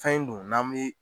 Fɛn in dun n'an bi